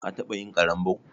Ka taɓa yin ƙarambau?